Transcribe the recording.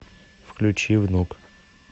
включи внук